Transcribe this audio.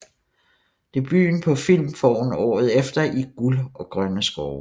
Debuten på film får hun året efter i Guld og grønne skove